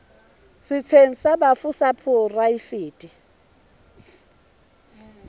setsheng sa bafu sa poraefete